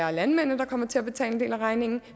er landmændene der kommer til at betale en del af regningen